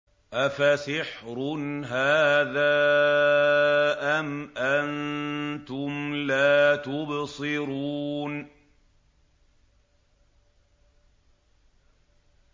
أَفَسِحْرٌ هَٰذَا أَمْ أَنتُمْ لَا تُبْصِرُونَ